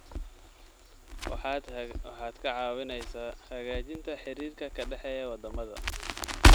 Waxaad ka caawineysaa hagaajinta xiriirka ka dhexeeya wadamada.